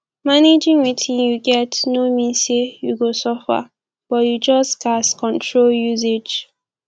managing wetin yu get no mean say yu go suffer but yu just gats control usage